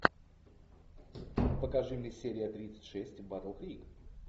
покажи мне серия тридцать шесть батл крик